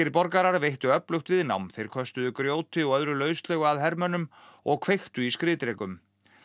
borgarar veittu öflugt viðnám þeir köstuðu grjóti og öðru lauslegu að hermönnum og kveiktu í skriðdrekum